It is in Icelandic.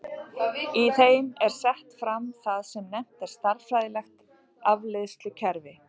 Í þeim er sett fram það sem nefnt er stærðfræðilegt afleiðslukerfi.